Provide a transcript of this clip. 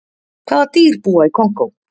Hvaða dýr búa í Kongó?